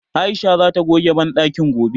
Aisha zata goge banɗakin gobe.